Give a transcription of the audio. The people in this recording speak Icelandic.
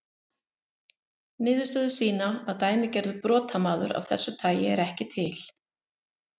Niðurstöður sýna að dæmigerður brotamaður af þessu tagi er ekki til.